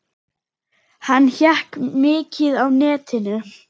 Hann hékk mikið á netinu.